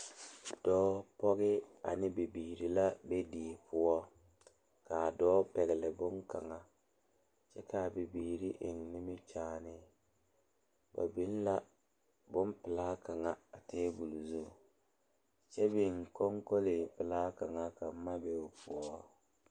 Dɔɔ pɔgeba la be sori kaŋa poɔ ka teere yaga yaga a be a be ka yiri kaŋa meŋ are a ba puori kyɛ kaa bie kaŋa seɛ kuri a su kparo ko'o zage zage kyɛ koo wiɛ o nyɛmɛ a konkole pelaa kaŋa ka boma be o poɔ.